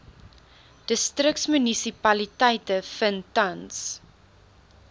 distriksmunisipaliteite vind tans